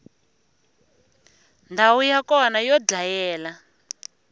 ndhawu ya kona yo dlayela